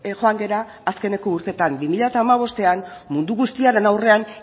joan gera azkeneko urteetan bi mila hamabostean mundu guztiaren aurrean